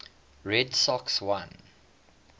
red sox won